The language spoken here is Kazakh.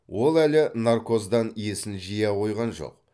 ол әлі наркоздан есін жия қойған жоқ